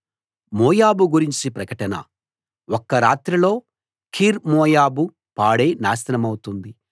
మోయాబు గురించి ప్రకటన ఒకే రాత్రిలో ఆర్ మోయాబు పాడై నాశనమౌతుంది ఒక్క రాత్రిలో కీర్ మోయాబు పాడై నాశనమౌతుంది